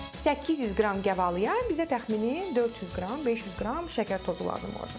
800 qram gavalıya bizə təxmini 400 qram, 500 qram şəkər tozu lazım olacaq.